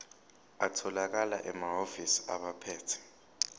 atholakala emahhovisi abaphethe